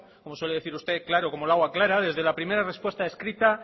como suele decir usted claro como el agua clara desde la primera respuesta escrita